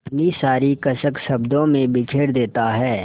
अपनी सारी कसक शब्दों में बिखेर देता है